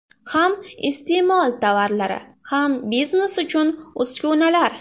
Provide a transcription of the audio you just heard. Ham iste’mol tovarlari, ham biznes uchun uskunalar.